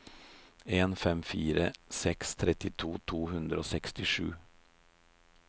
en fem fire seks trettito to hundre og sekstisju